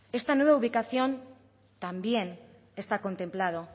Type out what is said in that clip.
esta nueva ubicación también está contemplado